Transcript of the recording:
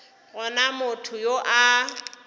go na motho yo a